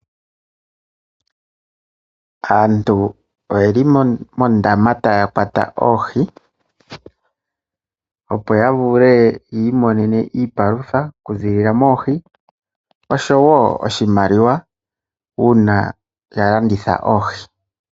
Aantu oyeli mondama ta ya kwata oohi Opo ya vule yi imonene iipalutha, kuziilila moohi osho wo oshimaliwa uuna ya landitha oohi.